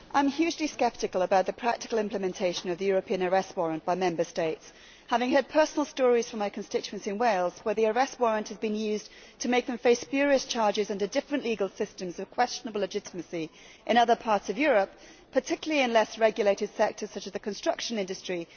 Mr President, I am hugely sceptical about the practical implementation of the European arrest warrant by Member States, having heard personal stories from my constituents in Wales where the arrest warrant has been used to make them face spurious charges under different legal systems of questionable legitimacy in other parts of Europe, particularly in less regulated sectors such as the construction industry.